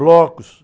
Blocos.